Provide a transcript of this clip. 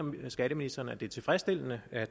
skatteministeren at det er tilfredsstillende at